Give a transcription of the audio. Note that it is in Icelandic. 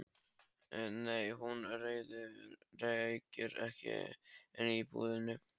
Nei, hún reykir ekki inni í búðinni.